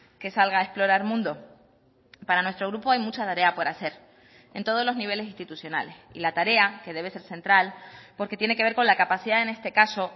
que salga a explorar mundo para nuestro grupo hay mucha tarea por hacer en todos los niveles institucionales y la tarea que debe ser central porque tiene que ver con la capacidad en este caso